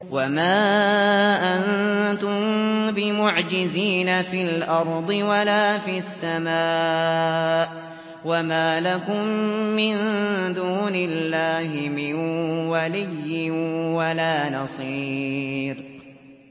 وَمَا أَنتُم بِمُعْجِزِينَ فِي الْأَرْضِ وَلَا فِي السَّمَاءِ ۖ وَمَا لَكُم مِّن دُونِ اللَّهِ مِن وَلِيٍّ وَلَا نَصِيرٍ